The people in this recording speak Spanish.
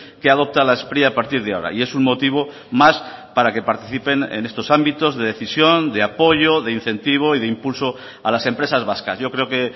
que adopta la spri a partir de ahora y es un motivo más para que participen en estos ámbitos de decisión de apoyo de incentivo y de impulso a las empresas vascas yo creo que